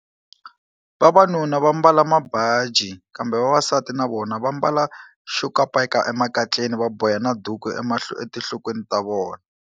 Vavanuna va mbala mabaji kambe vavasati na vona va mbala xo kapeka e makatleni va boha na duku emahlweni etinhlokweni ta vona.